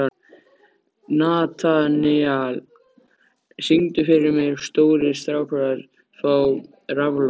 Natanael, syngdu fyrir mig „Stórir strákar fá raflost“.